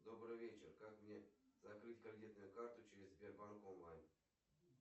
добрый вечер как мне закрыть кредитную карту через сбербанк онлайн